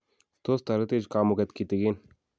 tos taretech kamunget kitigin